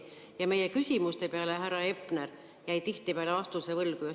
Ja meie küsimuste peale härra Hepner jäi tihtipeale vastuse võlgu.